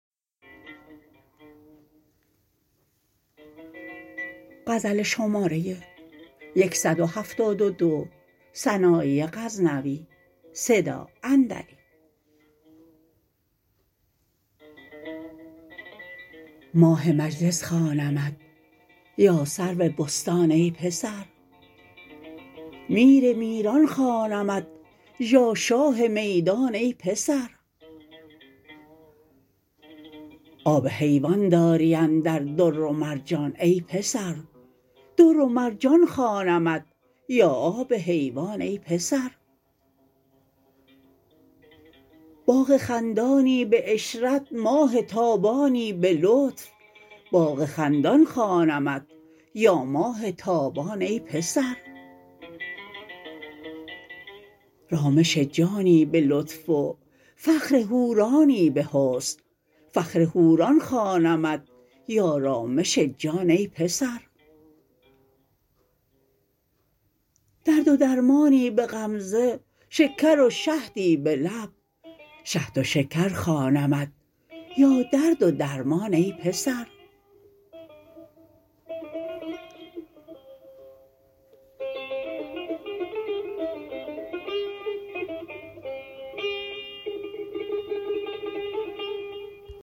ماه مجلس خوانمت یا سرو بستان ای پسر میر میران خوانمت یا شاه میدان ای پسر آب حیوان داری اندر در و ور جان ای پسر در و مرجان خوانمت یا آب حیوان ای پسر باغ خندانی به عشرت ماه تابانی به لطف باغ خندان خوانمت یا ماه تابان ای پسر رامش جانی به لطف و فخر حورانی به حسن فخر حوران خوانمت یا رامش جان ای پسر درد و درمانی به غمزه شکر و شهدی به لب شهد و شکر خوانمت یا درد و درمان ای پسر